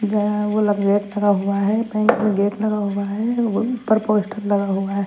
गया है वो वाला गेट करा हुआ है गेट लगा हुआ है ऊपर पोस्टर लगा हुआ है।